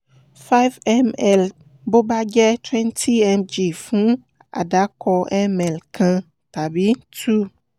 five ml bó bá jẹ́ twenty mg fún àdàkọ ml kan tàbí two